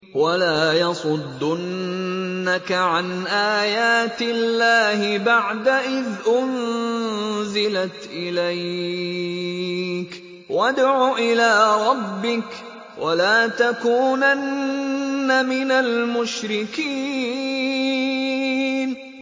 وَلَا يَصُدُّنَّكَ عَنْ آيَاتِ اللَّهِ بَعْدَ إِذْ أُنزِلَتْ إِلَيْكَ ۖ وَادْعُ إِلَىٰ رَبِّكَ ۖ وَلَا تَكُونَنَّ مِنَ الْمُشْرِكِينَ